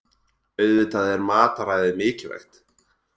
Auðvitað er mataræðið mikilvægt